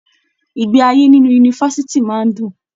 Ìgbé ayé nínú yunifásítì máa n dùn.